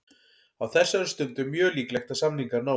Á þessari stundu er mjög líklegt að samningar náist.